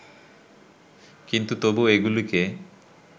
কিন্তু তবু এগুলিকে